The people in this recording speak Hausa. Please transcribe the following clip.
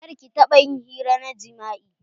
Kar ƙi taɓa ƴin hira na jima'i.